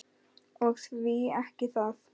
Og því ekki það.